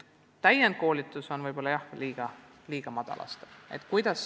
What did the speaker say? Jah, täienduskoolitus on võib-olla liiga madal aste.